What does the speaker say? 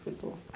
Falei, estou.